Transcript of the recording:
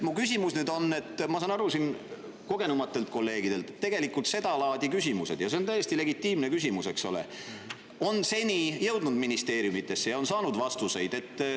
Ma olen saanud kogenenumate kolleegide abiga aru, et seda laadi küsimused – ja see on täiesti legitiimne küsimus, eks ole – on seni jõudnud ministeeriumidesse ja on saanud vastused.